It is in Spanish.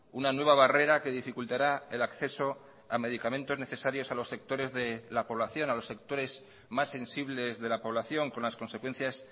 una nueva barrera que dificultará el acceso a medicamentos necesarios a los sectores de la población a los sectores más sensibles de la población con las consecuencias